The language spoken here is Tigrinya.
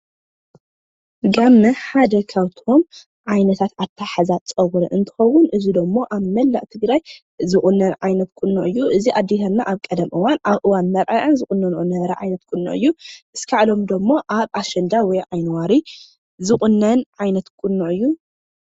ጋመ ካብቶም ዓይነታት ሓደ ኣታሓሕዛ ፀጉሪ እንትከውን እዚ ደሞ ኣብ መላእ ትግራይ ዝቁነን ዓይነት ቁኖ እዩ፤ እዚ ድማ ኣብ ቀደም ኣብ እዋን መርዐኣን ዝቁነኖኦ ዓይነት ቁኖ እዩ። ክሳዕ ሎሚ ደሞ ኣብ ኣሸንዳ ወይ ዓይኒዋሪ ዝቁነን ዓይነት ቁኖ እዩ።